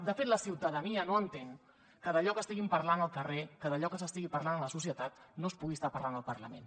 de fet la ciutadania no entén que d’allò que estiguin parlant al carrer que d’allò que s’estigui parlant a la societat no es pugui estar parlant al parlament